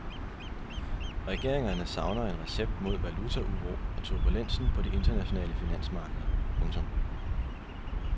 Regeringerne savner en recept mod valutauro og turbulensen på de internationale finansmarkeder. punktum